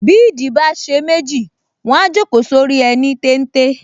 Bí ìdí bá ṣe méjì, wọ́n á jókòó sórí ẹní téńté